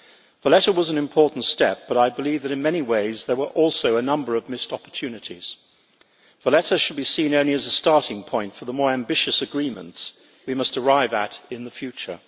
Valletta was an important step, but I believe that, in many ways, there were also a number of missed opportunities. Valletta should be seen only as a starting point for the more ambitious agreements we must arrive at in the future.